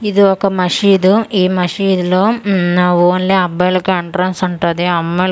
ఇది ఒక మషీద్ ఈ మషీద్ లో మ్మ్ ఓన్లీ అబ్బాయిలకే ఎంట్రన్స్ ఉంటాది అమ్మాయిల --